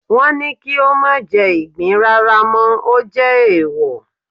wọn ní kí o mà jẹ igbín rara mọ, o jè eèwò